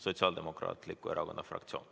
Sotsiaaldemokraatliku Erakonna fraktsioon.